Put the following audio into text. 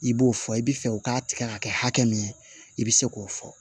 I b'o fɔ i bi fɛ u k'a tigɛ ka kɛ hakɛ min ye i be se k'o fɔ